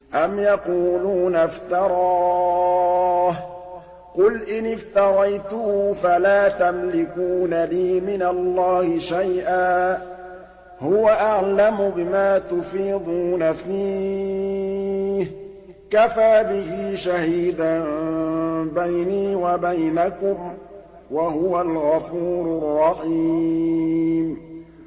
أَمْ يَقُولُونَ افْتَرَاهُ ۖ قُلْ إِنِ افْتَرَيْتُهُ فَلَا تَمْلِكُونَ لِي مِنَ اللَّهِ شَيْئًا ۖ هُوَ أَعْلَمُ بِمَا تُفِيضُونَ فِيهِ ۖ كَفَىٰ بِهِ شَهِيدًا بَيْنِي وَبَيْنَكُمْ ۖ وَهُوَ الْغَفُورُ الرَّحِيمُ